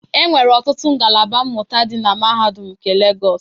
Enwere ọtụtụ ngalaba mmụta dị na Mahadum nke Legos.